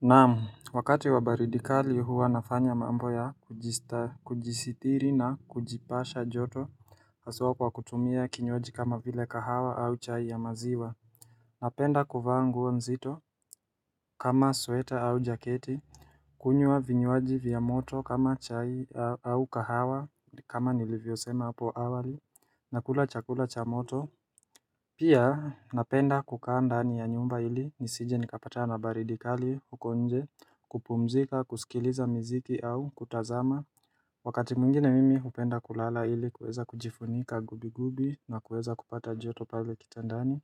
Naam wakati wa baridi kali huwa nafanya mambo ya kujista kujisitiri na kujipasha joto haswa kwa kutumia kinywaji kama vile kahawa au chai ya maziwa Napenda kuvaa nguo mzito kama sweater au jaketi kunywa vinywaji vya moto kama chai au kahawa kama nilivyo sema hapo awali nakula chakula cha moto Pia napenda kukaa ndani ya nyumba ili nisije nikapatana baridi kali huko nje kupumzika, kusikiliza mziki au kutazama Wakati mwngine mimi hupenda kulala ili kuweza kujifunika gubi gubi na kuweza kupata joto pale kitandani